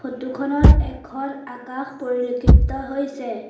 Photo খনত এখন আকাশ পৰিলেক্ষিত হৈছে।